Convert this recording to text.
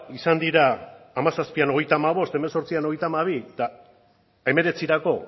izan dira bi mila hamazazpian hogeita hamabost bi mila hemezortzian hogeita hamabi eta bi mila hemeretzirako